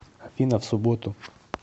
афина в субботу